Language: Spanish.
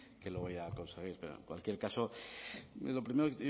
que lo voy a conseguir pero en cualquier caso lo primero